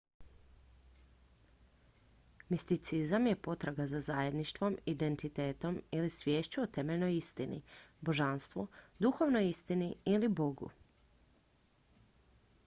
misticizam je potraga za zajedništvom identitetom ili sviješću o temeljnoj istini božanstvu duhovnoj istini ili bogu